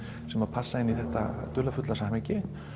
sem að passa inn í þetta dularfulla samhengi